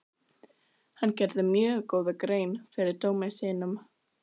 Hann gerði mjög góða grein fyrir dómi sínum.